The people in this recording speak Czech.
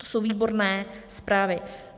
To jsou výborné zprávy.